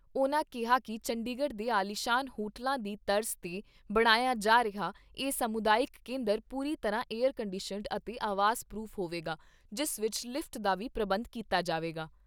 ਉਨ੍ਹਾਂ ਕਿਹਾ ਕਿ ਚੰਡੀਗੜ੍ਹ ਦੇ ਆਲੀਸ਼ਾਨ ਹੋਟਲਾਂ ਦੀ ਤਰਜ਼ 'ਤੇ ਬਣਾਇਆ ਜਾ ਰਿਹਾ ਇਹ ਸਮੁਦਾਇਕ ਕੇਂਦਰ ਪੂਰੀ ਤਰ੍ਹਾਂ ਏਅਰ ਕੰਡੀਸ਼ਨਡ ਅਤੇ ਆਵਾਜ਼ ਪਰੂਫ਼ ਹੋਵੇਗਾ ਜਿਸ ਵਿਚ ਲਿਫ਼ਟ ਦਾ ਵੀ ਪ੍ਰਬੰਧ ਕੀਤਾ ਜਾਵੇਗਾ।